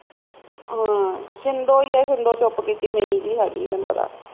ਹਾਂ ਛਿੰਦੋ ਈ ਆ ਛਿੰਦੋ ਚੁੱਪ ਕੀਤੀ ਮੀਣੀ ਜੀ ਹੈਗੀ ਆ ਤੈਨੂੰ ਪਤਾ